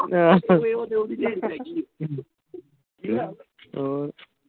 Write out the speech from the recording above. ਹੋਰ।